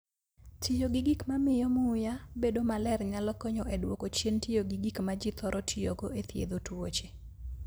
Tiyo gi gik mamiyo muya bedo maler nyalo konyo e dwoko chien tiyo gi gik ma ji thoro tiyogo e thiedho tuoche.